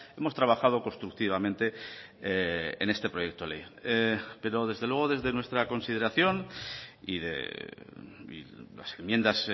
hemos trabajado constructivamente en este proyecto de ley pero desde luego desde nuestra consideración y las enmiendas